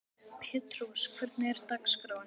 Petrós, hvernig er dagskráin?